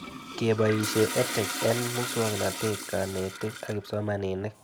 Kepoishe EdTech eng' muswog'natet, kanetik ak kipsomanik